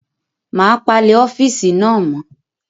Màá palẹ̀ ọ́fíìsì náà mọ́.